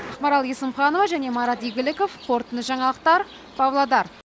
ақмарал есімханова және марат игіліков қорытынды жаңалықтар павлодар